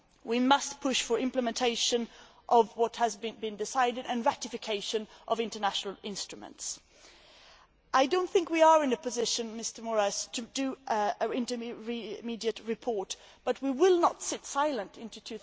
We must push for implementation of what has been decided and ratification of international instruments. I do not think we are in a position, Mr Moraes, to make an intermediate report, but we will not sit silent until